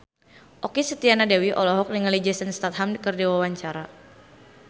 Okky Setiana Dewi olohok ningali Jason Statham keur diwawancara